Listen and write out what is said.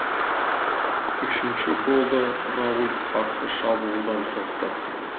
үшінші голды рауль қарсы шабуылдан соқты